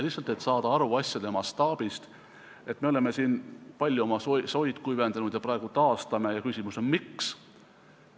Lihtsalt, et saada aru asjade mastaabist: me oleme siin palju soid kuivendanud ja praegu taastame neid ja küsimus on, et miks.